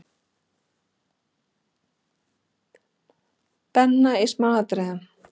Benna í smáatriðum.